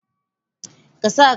Ka sa kayan acikin mota yanzun!